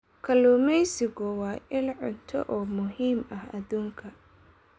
Kalluumaysigu waa il cunto oo muhiim ah aduunka.